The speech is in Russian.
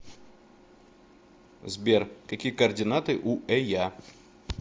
сбер какие координаты у эя